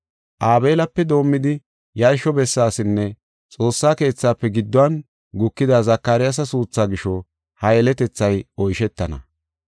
Aabelape doomidi yarsho bessaasinne xoossa keethafe gidduwan gukida Zakaryaasa suutha gisho ha yeletethay oyshetana.